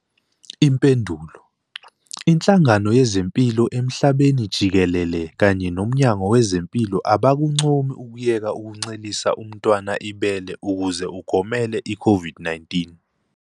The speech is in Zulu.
Impendulo- Inhlangano Yezempilo Emhlabeni Jikelele kanye noMnyango Wezempilo abakuncomi ukuyeka ukuncelisa umntwana ibele ukuze ugomele iCOVID-19.